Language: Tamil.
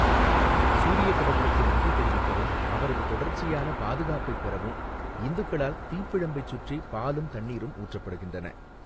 சூரியக் கடவுளுக்கு நன்றி தெரிவிக்கவும், அவரது தொடர்ச்சியான பாதுகாப்பைப் பெறவும் இந்துக்களால் தீப்பிழம்பைச் சுற்றி பாலும் தண்ணீரும் ஊற்றப்படுகின்றன.